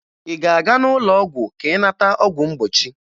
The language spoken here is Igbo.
Ị ga-aga n'ụlọọgwụ ka ị nata ọgwụ mgbochi?